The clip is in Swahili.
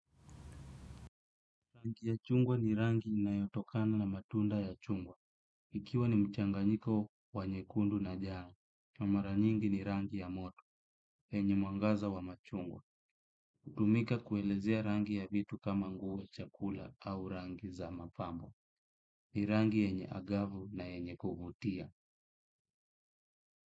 Rangi ya chungwa ni rangi inayotokana na matunda ya chungwa. Ikiwa ni mchanganyiko wa nyekundu na njano. Kwa mara nyingi ni rangi ya moto, wenye mwangaza wa machungwa. Hutumika kuelezea rangi ya vitu kama nguo, chakula au rangi za mapambo. Ni rangi yenye angavu na yenye kuvutia.